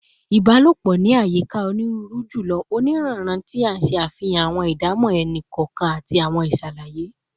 Ibalopo ni ayika oniruuru julọ. Oniranran, ti n ṣe afihan awọn idamọ ẹni kọọkan ati awọn iṣalaye